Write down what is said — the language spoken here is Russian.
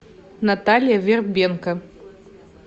наталья вербенко